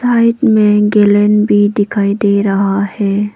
यहां एक मेंगलन भी दिखाई दे रहा है।